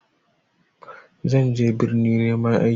Zan je birni neman aiki.